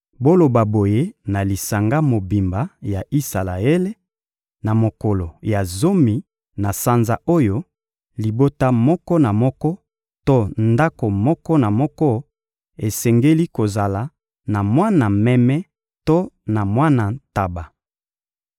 Boloba boye na lisanga mobimba ya Isalaele: Na mokolo ya zomi na sanza oyo, libota moko na moko to ndako moko na moko esengeli kozala na mwana meme to na mwana ntaba.